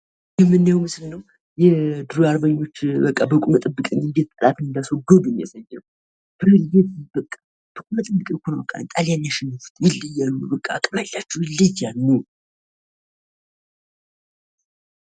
የምናየዉ ምስል ነዉ። የድሮ አርበኞች በቁመህ ጠብቀኝ አንዴት ጠላትን እንዳስወገዱ የሚያሳይ ነዉ! በቁመህ ጠብቀኝ ነዉኮ ጣሊያንን ያሸነፉት! ይለያሉ! አቅም አላቸዉ በቃ! ይለያሉ!